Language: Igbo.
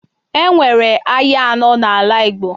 E nwere ahịa anọọ n'ala Igbo.